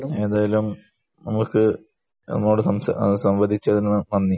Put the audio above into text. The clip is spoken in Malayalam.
ഏതായാലും നമുക്ക് നമ്മളോട് സംസാരിച്ച സംവാദിച്ചതിന് നന്ദി.